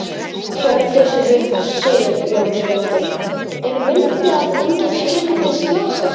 Hjördís Rut Sigurjónsdóttir: Er mildi að engin skyldi slasast?